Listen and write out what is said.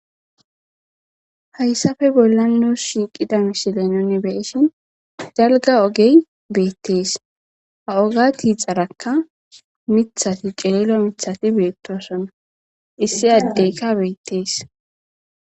hayssafe bolla nuus shiiqida mishile noni beishin jalga ogey beettees ha oga tiixarakka mithati qelelo mithati beettosona issi addeyka beettees